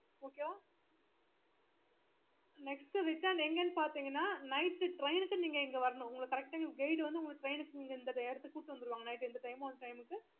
okay வா next return எங்கன்னு பாத்தீங்கன்னா night train க்கு நீங்க இங்க வரணும் எங்க guide வந்து கூட்டிட்டு வந்துடுவாங்க அந்த time க்கு